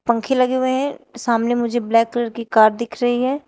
पंखे लगे हुए हैं। सामने मुझे ब्लैक कलर की कार दिख रही है।